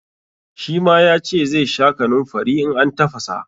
Shi ma ya ce zai sha kanunfari in an tafasa.